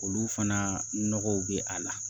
Olu fana nɔgɔw bɛ a la